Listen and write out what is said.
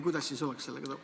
Kuidas sellega on?